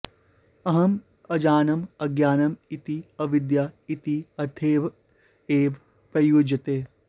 अहम् अजानम् अज्ञानम् इति अविद्या इति अर्थे एव प्रयुज्यते